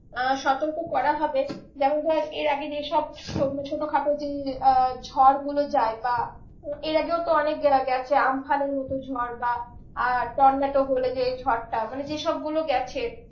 আহ সতর্ক করা হবে যেমন ধর এর আগে যে সব ছোটো খাটো যে আহ ঝড় গুলো যায় বা এর আগেও তো অনেক গেছে আম্ফানের মতো ঝড় বা আহ বলে যে ঝড়টা মানে যেসব গুলো গেছে